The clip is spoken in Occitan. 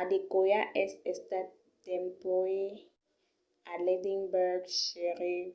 adekoya es estat dempuèi a l'edinburgh sheriff